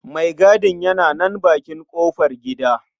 Maigadin yana nan a bakin ƙofargida.